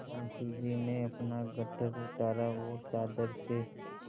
मुंशी जी ने अपना गट्ठर उतारा और चादर से